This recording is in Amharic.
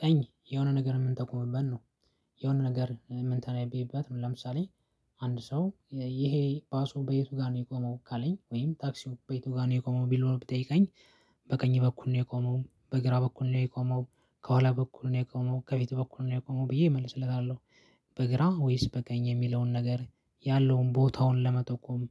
ቀኝ የሆነ ነገር የምንጠቁምበት ነው። የሆነ ነገር ምንተነብይበት ነው ለምሳሌ። አንድ ሰው ይሄ ባሱ በየቱ ጋር ነው የቆመው ካለኝ ወይም ታክሲው በየቱ ጋር ነው የቆመው ብሎ ቢጠይቀኝ። በቀኝ በኩል ነው የቆመው በግራ በኩል ነው የቆመው ከኋላ በኩል ነው የቆመው ከፊት በኩል ነው የቆመው ብዬ እመልስለታለሁ። በግራ ወይስ በቀኝ የሚለውን ነገር ያለውን ቦታውን ለመጠቆም